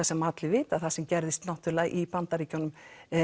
sem allir vita sem gerðist í Bandaríkjunum